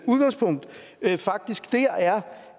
udgangspunkt faktisk der er